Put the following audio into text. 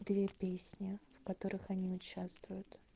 две песни в которых они участвуют